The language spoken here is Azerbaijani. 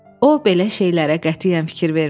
O, belə şeylərə qətiyyən fikir vermirdi.